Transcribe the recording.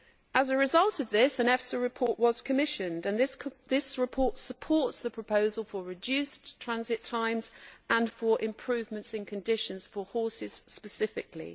As a result of this, an EFSA report was commissioned, and this report supports the proposal for reduced transit times and for improvements in conditions for horses specifically.